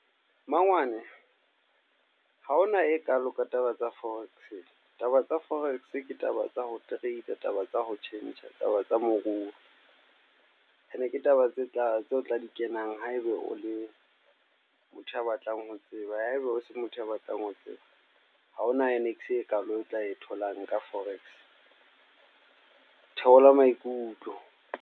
Mangwane, ha hona e kalo ka taba tsa forex. Taba tsa forex, ke taba tsa ho trade, taba tsa ho tjhentjha, taba tsa moruo. Ene ke taba tse taba tseo tla di kenang haeba o le motho ya batlang ho tseba. Haeba o se motho ya batlang ho tseba. Ha ho na e kalo e tla e tholang ka forex. Theola maikutlo